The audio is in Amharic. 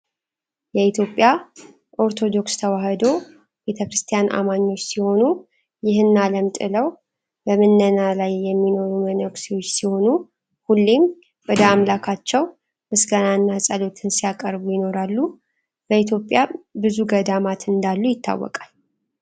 የኢትዮጵያ ኦርቶዶክስ ተዋህዶ ቤተክርስቲያን አማኞች ሲሆኑ ይሆን ዓለም ጥለው በምነናላይ የሚኖሩ መነኩሴዎች ሲሆኑ ሁሌም ወደ አምላካቸው ምስጋናና ጸሎትን ሲያቀርቡ ይኖራሉ። በኢትዮጵያ ብዙ ገዳማት እንዳሉ ይታወቃል